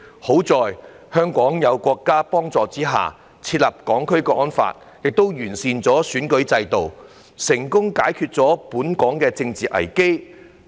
幸好，香港在國家幫助之下，訂立《香港國安法》，亦完善了選舉制度，成功解決本港的政治危機。